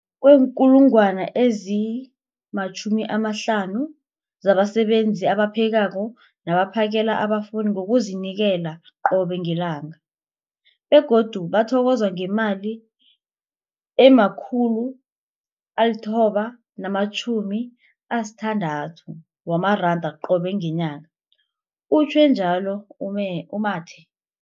50 000 zabasebenzi abaphekako nabaphakela abafundi ngokuzinikela qobe ngelanga, begodu bathokozwa ngemali ema-960 wamaranda qobe ngenyanga, utjhwe njalo u-Mathe.